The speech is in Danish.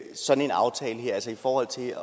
sådan en aftale altså i forhold til